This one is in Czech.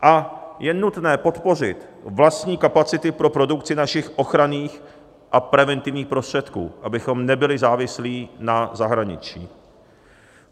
A je nutné podpořit vlastní kapacity pro produkci našich ochranných a preventivních prostředků, abychom nebyli závislí na zahraničí.